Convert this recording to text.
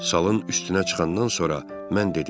Salın üstünə çıxandan sonra mən dedim: